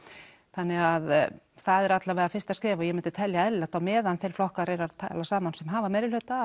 þannig það er allavega fyrsta skref og ég myndi telja eðlilegt að á meðan þeir flokkar eru að tala saman sem hafa meirihluta